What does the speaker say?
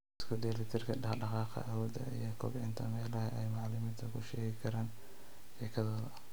Isku dheelli tirka dhaqdhaqaaqa awoodda iyo kobcinta meelaha ay macalimiintu ku sheegi karaan sheekadooda